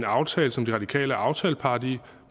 aftale som de radikale er aftalepart i